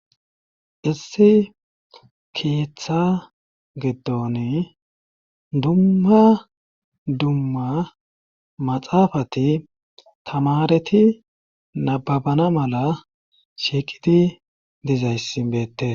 issi keeththa giddon dumma dumma maxaafati tamareti nababana mala shiiqidi dizayssi beette